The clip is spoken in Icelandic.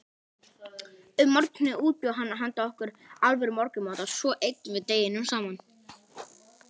Um morguninn útbjó hann handa okkur alvöru morgunmat og svo eyddum við deginum saman.